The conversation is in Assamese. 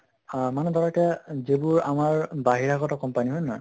আহ মানে ধৰা এটা যিবোৰ আমাৰ বাহিৰাগত company হয় নে নহয়